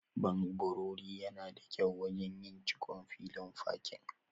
Ɓanɓori yana da kyau wajen yin cikon filin fakin.